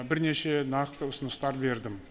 бірнеше нақты ұсыныстар бердім